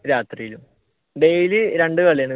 രാത്രിയിലും daily രണ്ടു കളി